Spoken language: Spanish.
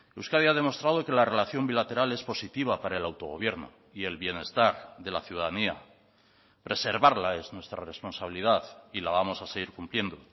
euskadi ha demostrado que la relación bilateral es positiva para el autogobierno y el bienestar de la ciudadanía preservarla es nuestra responsabilidad y la vamos a seguir cumpliendo